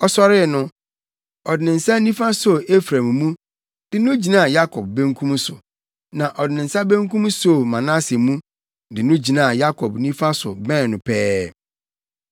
Ɔsɔre no, ɔde ne nsa nifa soo Efraim mu, de no gyinaa Yakob benkum so, na ɔde ne nsa benkum soo Manase mu, de no gyinaa Yakob nifa so bɛn no pɛɛ.